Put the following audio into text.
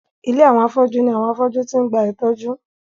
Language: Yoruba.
Ilé àwọn afọ́jú ní àwọn afọ́jú ti ń gba ìtọ́jú.